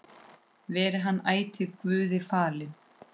Veri hann ætíð Guði falinn.